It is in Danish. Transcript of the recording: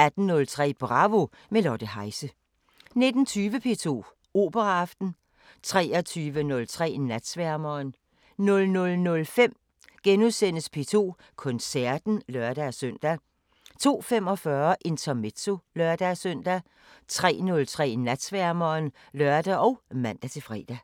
18:03: Bravo – med Lotte Heise 19:20: P2 Operaaften 23:03: Natsværmeren 00:05: P2 Koncerten *(lør-søn) 02:45: Intermezzo (lør-søn) 03:03: Natsværmeren (lør og man-fre)